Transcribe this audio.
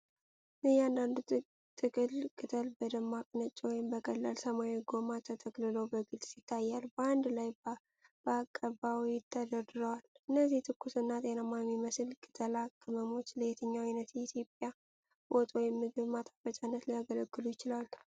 እያንዳንዱ ጥቅል ቅጠል በደማቅ ነጭ ወይም በቀላል ሰማያዊ ጎማ ተጠቅልሎ በግልጽ ይታያል፤ በአንድ ላይ በአቀባዊ ተደርድረዋል። እነዚህ ትኩስና ጤናማ የሚመስሉ ቅጠላ ቅመሞች ለየትኛው ዓይነት የኢትዮጵያ ወጥ ወይም ምግብ ማጣፈጫነት ሊያገለግሉ ይችላሉ?